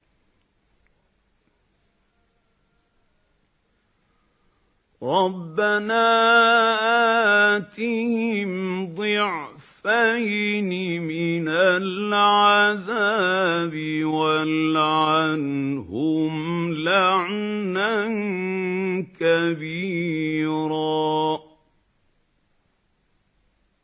رَبَّنَا آتِهِمْ ضِعْفَيْنِ مِنَ الْعَذَابِ وَالْعَنْهُمْ لَعْنًا كَبِيرًا